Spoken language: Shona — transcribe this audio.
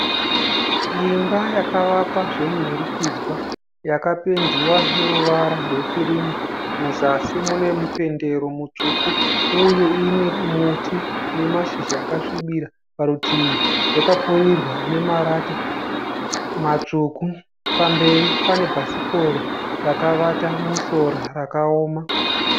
Imba yakavakwa zvemunhurikidzwa. Yakapendiwa neruvara rwe kirimu, muzasi mune mupendero mutsvuku. Uye ine muti wemashizha akasvibira parutivi. Yakapfirirwa nemarata matsvuku. Pamberi pane bhasikoro rakavata musora rakaoma.